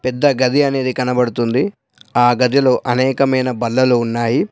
పెద్ద గది అనేది కనబడుతుంది ఆ గదిలో అనేకమైన బల్లలు ఉన్నాయి.